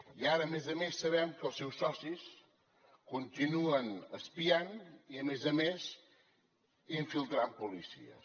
i ara a més a més sabem que els seus socis continuen espiant i a més a més infiltrant policies